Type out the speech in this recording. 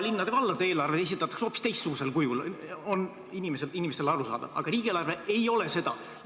Linnade ja valdade eelarved esitatakse hoopis teistsugusel kujul, need on inimestele arusaadavad, aga riigieelarve ei ole seda.